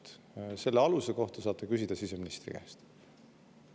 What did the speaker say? Selle aluse kohta saate küsida siseministri käest.